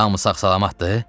Hamı sağ-salamatdır?